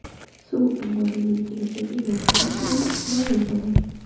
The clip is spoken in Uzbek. Suv omborining kelajagi yaqin vaqtlarda ma’lum bo‘ladi.